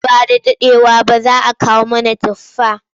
Nan ba da daɗewa ba za kawo mana tufa.